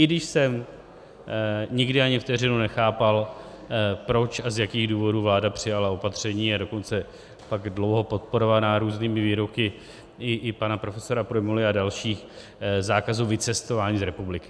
I když jsem nikdy ani vteřinu nechápal, proč a z jakých důvodů vláda přijala opatření, a dokonce pak dlouho podporovaná různými výroky i pana profesory Prymuly a dalších, zákazů vycestování z republiky.